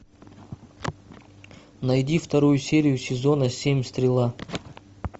найди вторую серию сезона семь стрела